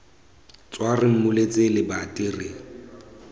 tswa re mmuletse lebati re